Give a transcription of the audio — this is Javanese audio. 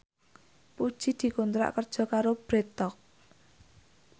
Puji dikontrak kerja karo Bread Talk